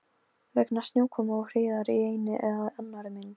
Vegna snjókomu og hríðar í einni eða annarri mynd.